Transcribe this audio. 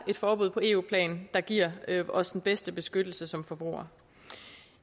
et forbud på eu plan der giver os den bedste beskyttelse som forbrugere